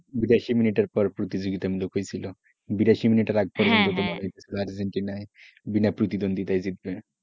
বিরাশি মিনিট এর পর প্রতিযোগিতামূলক হয়েছিলবিরাশি মিনিটের আগে মনে হয়েছিল যে আর্জেন্টিনা বিনাপ্রতিদ্বন্দ্বিতায় জিতবে,